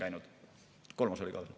Kolmas küsimus oli ka veel.